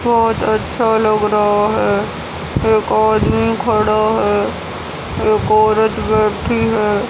बहोत अच्छा लग रहा है।